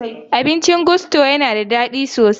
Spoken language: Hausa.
Abincin Gusto ya na da daɗi sosai.